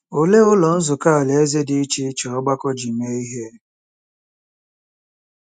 Olee Ụlọ Nzukọ Alaeze dị iche iche ọgbakọ ji mee ihe?